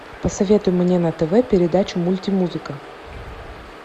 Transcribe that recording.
посоветуй мне на тв передачу мульти музыка